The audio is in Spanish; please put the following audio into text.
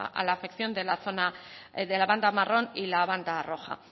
a la afección de la zona de la banda marrón y la banda roja